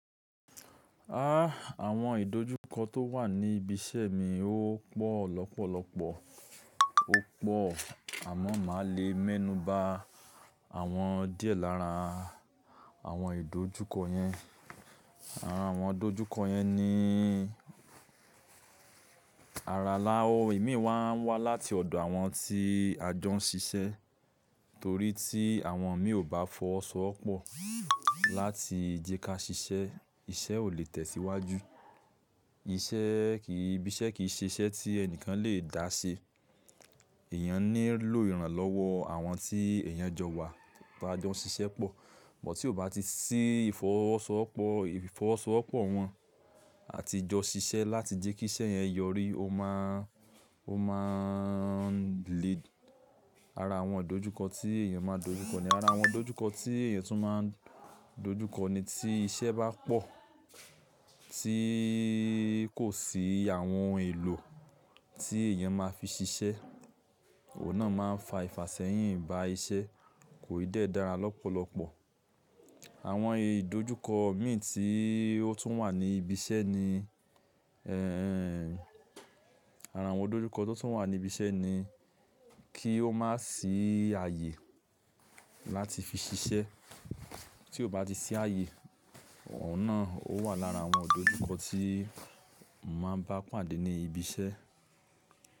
Aah! Àwọn ìdojúkọ tó wà ní ibi iṣẹ́ mi ó pọ̀ lọ́pọ̀lọpọ̀, ó pọ̀ àmọ́ máa lè mẹ́nuba àwọn díẹ̀ lára àwọn ìdojúkọ yẹn. Àwọn ìdojúkọ yẹn ni ara la o imi máa ń wá láti ọ̀dọ̀ àwọn tí a jọ ń ṣiṣẹ́ torí tí àwọn mi ò bá fọwọ́ sọ́wopọ̀ láti jẹ kí a ṣiṣẹ́, iṣẹ́ ò lè tẹ̀síwájú. Iṣẹ́ kìí, ibi iṣẹ́ kìí ṣe iṣẹ́ tí ẹni kan lè dá ṣe. Ẹ̀yàn ní lọ ìrànlọ́wọ́ àwọn tí èèyàn jọ wa tá a jọ ń ṣiṣẹ́ pọ̀. Bútì ó bá ti ṣí ìfọwọ́sowọ́pọ̀, ìfọwọ́sowọ́pọ̀ wọn àti jọ ṣiṣẹ́ láti jẹ́ kí iṣẹ́ yẹn yọrí, ó máa ń lè ara àwọn ìdojúkọ tí èèyàn máa dojúkọ ni. Ara àwọn ìdojúkọ tí èèyàn tún máa dojúkọ ni tí iṣẹ́ bá pọ̀ tí kò sí àwọn ohun èlò tí èèyàn máa fi ṣiṣẹ́, òun náà máa ń fa ìfàsẹ́yìn ba iṣẹ́ kò ì dẹ́ dára lọ́pọ̀lọpọ̀. Àwọn ìdojúkọ mi tí ó tún wà ní ibi iṣẹ́ ni, ẹ́ẹ̀, ara àwọn ìdojúkọ tó tún wà ní ibi iṣẹ́ ni kí ó má sì ààyè láti fi ṣiṣẹ́. Tí ó bá ti ṣí ààyè, òun náà ó wà lára àwọn ìdojúkọ tí mo màá bá pàdé ní ibi iṣẹ́.